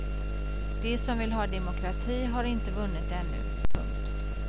De som vill ha demokrati har inte vunnit ännu. punkt